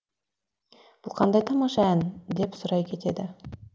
бұл қандай тамаша ән деп сұрай кетеді